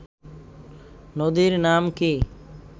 নদীর নাম কি